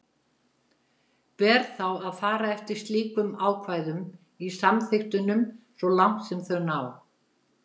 Ber þá að fara eftir slíkum ákvæðum í samþykktunum svo langt sem þau ná.